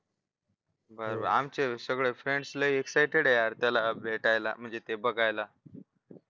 बरं बरं आमचे सगळे friends लयी excited आहे यार त्याला भेटायला म्हणजे ते बघायला